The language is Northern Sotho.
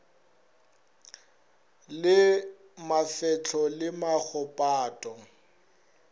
le mafehlo le maho pato